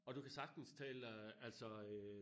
Og du kan sagtens tale øh altså øh